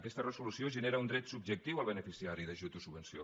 aquesta resolució genera un dret subjectiu al beneficiari d’ajut o subvenció